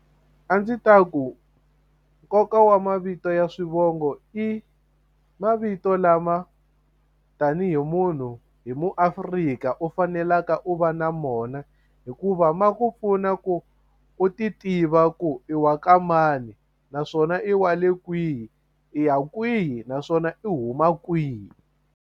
A ndzi ta ku nkoka wa mavito ya swivongo i mavito lama tanihi munhu hi muAfrika u faneleke u va na mona hikuva ma ku pfuna ku u ti tiva ku i wa ka mani naswona i wa le kwihi i ya kwihi naswona i huma kwihi.